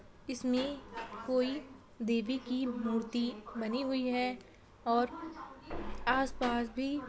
इसमें कोई देवी की मूर्ति बनी हुई है और आस-पास भी --